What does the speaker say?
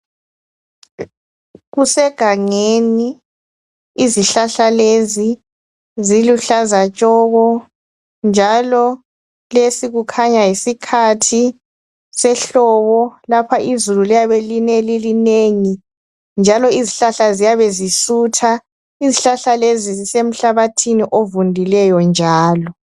Kusegangeni izihlahla lezi ziluhlaza tshoko njalo lesi kukhanya yisikhathi sehlobo lapha izulu kuyabe line lilinengi njalo izihlahla ziyabe zisutha. Izihlahla lezi zisemhlabathini ovundileyo njalo